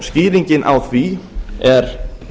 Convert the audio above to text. skýringin á því er